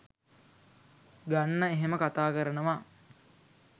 ගන්න එහෙම කතා කරනවා